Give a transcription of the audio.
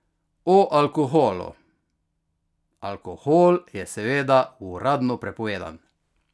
O alkoholu: "Alkohol je seveda uradno prepovedan.